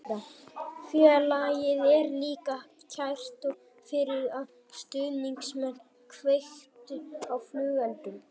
Félagið er líka kært og fyrir að stuðningsmenn kveiktu á flugeldum.